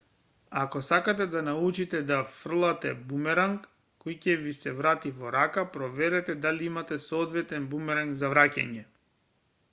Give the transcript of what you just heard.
ако сакате да научите да фрлате бумеранг кој ќе ви се врати во рака проверете дали имате соодветен бумеранг за враќање